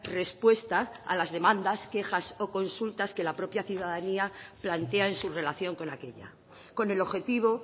respuesta a las demandas quejas o consultas que la propia ciudadanía plantea en su relación con aquella con el objetivo